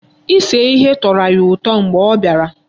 Ise ihe tọrọ ya ụtọ nke ukwuu mgbe ọ bịara.